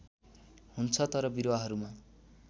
हुन्छ तर बिरुवाहरूमा